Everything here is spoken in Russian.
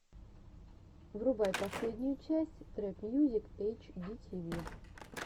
врубай последнюю часть трэп мьюзик эйч ди ти ви